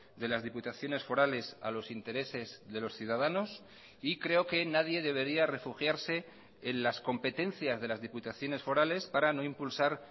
de las diputaciones forales a los intereses de los ciudadanos y creo que nadie debería refugiarse en las competencias de las diputaciones forales para no impulsar